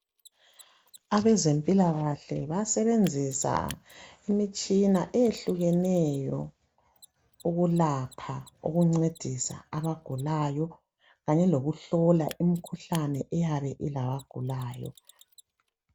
Abezempilakahle bayasebenzisa imitshina eyehlukeneyo ukulapha okuncedisa abagulayo Kanye lokuhlola imikhuhlane eyabe ilaba gulayo